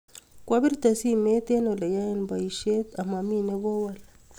kwa birte simet eng ole yae boishet amamie ne ko wol